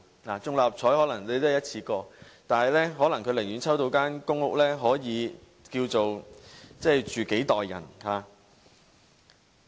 六合彩可能是一次過，但有人可能寧願抽中公屋，可以供幾代人居住。